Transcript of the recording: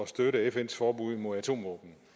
støtte fns forbud mod atomvåben